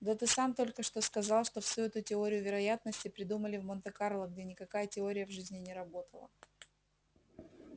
да ты сам только что сказал что всю эту теорию вероятности придумали в монте-карло где никакая теория в жизни не работала